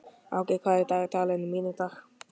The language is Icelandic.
Áki, hvað er í dagatalinu mínu í dag?